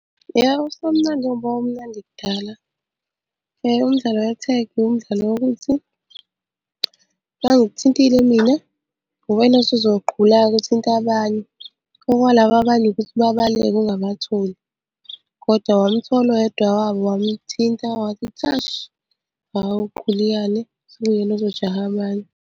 Yebo, usemnandi ngoba wawumnandi kudala. Umdlalo wethegi umdlalo wokuthi uma ngikuthintile mina, uwena osuzogqula-ke uthinte abanye. Okwalaba abanye ukuthi babaleke ungabatholi, kodwa wamuthola oyedwa wabo wamuthinta wathi, thashi, hhawu gquliyane, sekuyena ozojaha abanye.